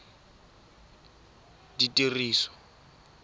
ditiriso